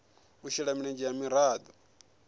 u shela mulenzhe ha miraḓo